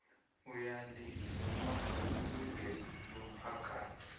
uyalivuma ilungelo lomphakathi